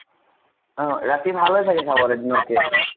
অ ।ৰাতি ভাল হয় চাবলে চাগে দিনত কে ?